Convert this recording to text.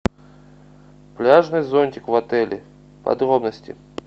пляжный зонтик в отеле подробности